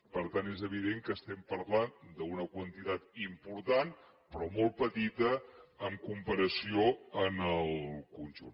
per tant és evident que estem parlant d’una quantitat important però molt petita en comparació amb el conjunt